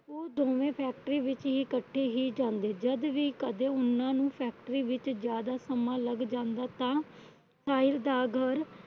ਉਹ ਦੋਵੇ Factory ਵਿੱਚ ਇਕੱਠੇ ਹੀ ਜਾਂਦੇ ਜਦ ਵੀ ਕਦੇ ਉਹਨਾਂ ਨੂੰ Factory ਵਿਚ ਜਿਆਦਾ ਸਮਾਂ ਲੱਗ ਜਾਂਦਾ। ਤਾਂ ਸਾਹਿਲ ਦਾ ਘਰ